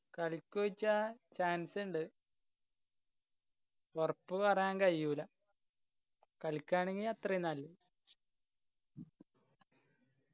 കളിക്കോ ചോയ്ച്ചാ chance ഇണ്ട് ഒറപ്പ് പറയാൻ കയ്യൂല്ല. കാലിക്കയാണെങ്കിൽ അത്രയു നല്ലെ